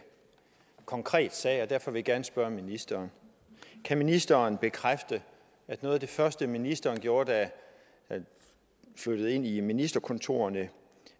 konkret sag og derfor vil jeg gerne spørge ministeren kan ministeren bekræfte at noget af det første ministeren gjorde da hun flyttede ind i ministerkontorerne